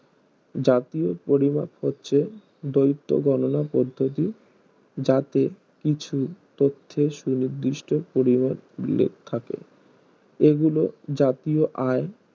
জাতীয় পরিমাপ হচ্ছে দৈত্ত গণনা পদ্ধতি যাতে কিছু তথ্যের সু নির্দিষ্ট পরিহার উল্লেখ থাকে এগুলো জাতীয় আয়